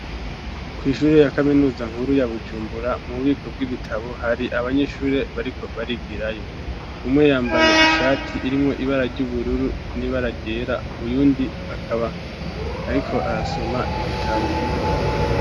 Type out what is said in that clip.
Kw'ishure ya kaminuza nkuru, ya Bujumbura, mu bubiko bw'ibitabo, hari abanyeshure bariko barigirayo; umwe, yambaye ishati, irimwo ibara ry'ubururu n'ibara ryera; uyundi, akaba ariko arasoma ibitabo.